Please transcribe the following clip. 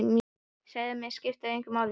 Segi að mig skipti lykt engu máli.